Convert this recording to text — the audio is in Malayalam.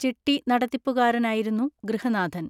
ചിട്ടി നടത്തിപ്പുകാരനായിരുന്നു ഗൃഹനാഥൻ.